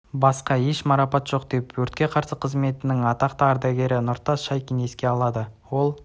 басқа еш марапат жоқ деп өртке қарсы қызметінің атақты ардагері нұртас шайкин еске алады ол